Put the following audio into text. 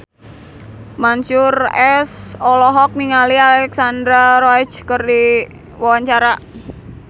Mansyur S olohok ningali Alexandra Roach keur diwawancara